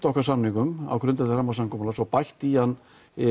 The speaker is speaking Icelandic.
okkar samningum á grundvelli rammasamkomulags og bætt í hann